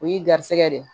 O y'i garisigɛ de ye